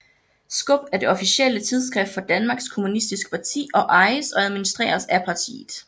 Skub er det officielle tidsskrift for Danmarks Kommunistiske Parti og ejes og administreres af partiet